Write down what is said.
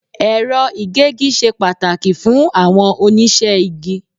Ẹ̀rọ ìgégi ṣe pàtàkì fún àwọn oníṣẹ́ igi.